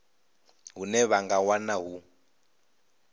hune vha nga wana hu